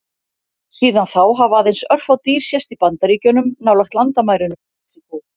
Síðan þá hafa aðeins örfá dýr sést í Bandaríkjunum, nálægt landamærunum við Mexíkó.